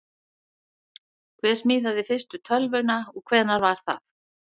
Hver smíðaði fyrstu tölvuna og hvenær var það?